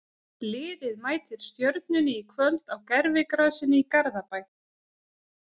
Liðið mætir Stjörnunni í kvöld á gervigrasinu í Garðabæ.